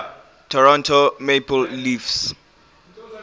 toronto maple leafs